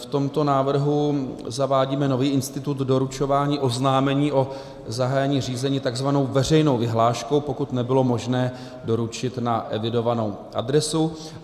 V tomto návrhu zavádíme nový institut doručování oznámení o zahájení řízení takzvanou veřejnou vyhláškou, pokud nebylo možné doručit na evidovanou adresu.